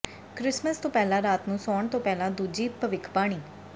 Christmas ਤੋਂ ਪਹਿਲਾਂ ਰਾਤ ਨੂੰ ਸੌਣ ਤੋਂ ਪਹਿਲਾਂ ਦੂਜੀ ਭਵਿੱਖਬਾਣੀ